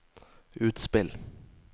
utspill